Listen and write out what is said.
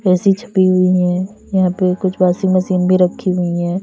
AC छपी हुई है यहां पे कुछ वॉशिंग मशीन भी रखी हुई है।